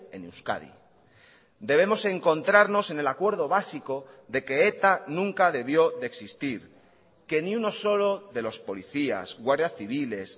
en euskadi debemos encontrarnos en el acuerdo básico de que eta nunca debió de existir que ni uno solo de los policías guardias civiles